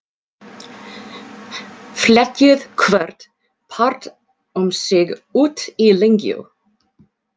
Fletjið hvorn part um sig út í lengju.